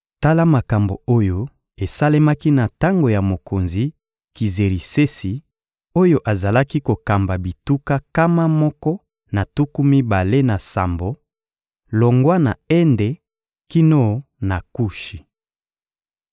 Tala makambo oyo esalemaki na tango ya mokonzi Kizerisesi oyo azalaki kokamba bituka nkama moko na tuku mibale na sambo, longwa na Ende kino na Kushi.